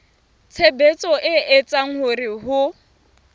tshebetso e etsang hore ho